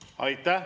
Aitäh!